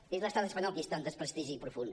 és l’estat espanyol qui està en desprestigi profund